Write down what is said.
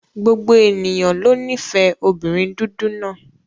Gbogbo ènìyàn ló nífẹ̀ẹ́ obìnrin dúdú náà.